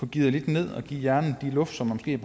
geare lidt ned og give hjernen det luft som den har